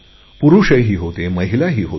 पुरुषही होते महिलाही होत्या